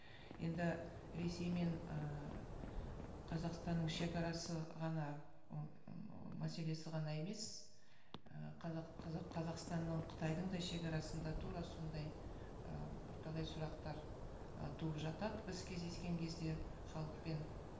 енді ресей мен ыыы қазақстанның шегарасы ғана ы мәселесі ғана емес ы қазақстанның қытайдың да шегарасында тура сондай ы бірталай сұрақтар ы туып жатады біз кездескен кезде халықпен